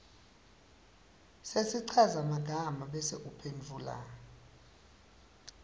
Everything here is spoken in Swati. sesichazamagama bese uphendvula